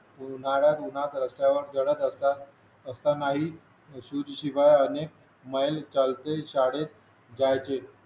उन्हाळ्यात उन्हात रस्त्यावर जळत असतात जळत असतानाही शूज शिवाय अनेक मैल चालते शाळेत जायचे